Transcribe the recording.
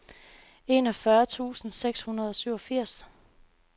enogfyrre tusind seks hundrede og syvogfirs